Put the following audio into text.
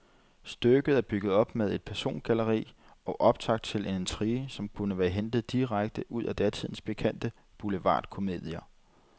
Stykket er bygget op med et persongalleri og optakt til en intrige, som kunne være hentet direkte ud af datidens pikante boulevardkomedier.